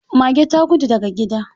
Mage ta gudu daga gida.